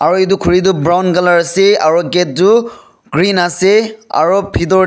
Aro etu khuri tu brown colour ase aro gate tu green ase ari pithor--